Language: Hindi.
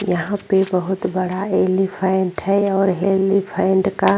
यहाँ पे बहुत बड़ा एलिफैन्ट है और हेलिफैन्ट का --